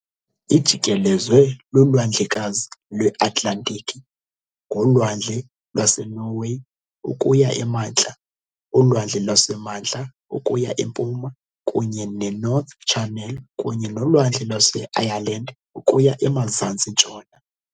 Ijikelezwe luLwandlekazi lweAtlantiki ngoLwandle lwaseNorway ukuya emantla, uLwandle lwaseMantla ukuya empuma kunye neNorth Channel kunye noLwandle lwaseIreland ukuya emazantsi-ntshona.